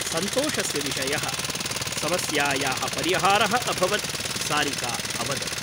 सन्तोषस्य विषयः । समस्यायाः परिहारः अभवत् सारिका अवदत् ।